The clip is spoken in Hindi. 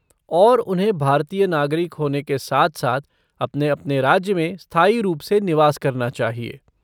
और उन्हें भारतीय नागरिक होने के साथ साथ अपने अपने राज्य में स्थायी रूप से निवास करना चाहिए।